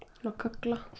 svo